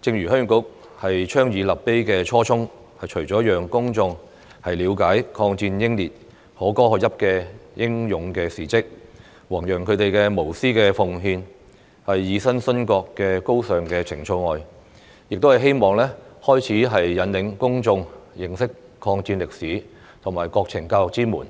正如鄉議局倡議立碑的初衷，除了讓公眾了解抗戰英烈可歌可泣的英勇事蹟，弘揚他們無私奉獻、以身殉國的高尚情操外，亦希望開啟引領公眾認識抗戰歷史和國情教育之門，